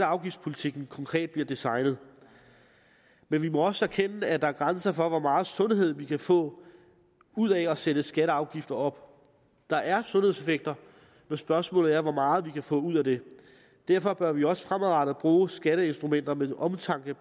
afgiftspolitikken konkret bliver designet men vi må også erkende at der er grænser for hvor meget sundhed vi kan få ud af at sætte skatter og afgifter op der er sundhedseffekter men spørgsmålet er hvor meget vi kan få ud af det derfor bør vi også fremadrettet bruge skatteinstrumenter med omtanke i